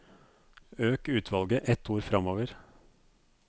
Øk utvalget ett ord framover